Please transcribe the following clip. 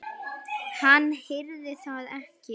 Hann heyrir það ekki.